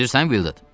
Eşidirsən, Vildur?